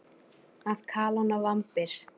Að kalóna vambir.